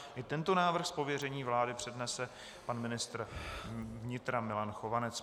I tento návrh z pověření vlády přednese pan ministr vnitra Milan Chovanec.